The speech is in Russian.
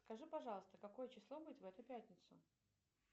скажи пожалуйста какое число будет в эту пятницу